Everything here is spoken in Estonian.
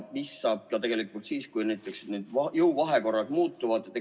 Mis saab tegelikult siis, kui jõuvahekorrad muutuvad?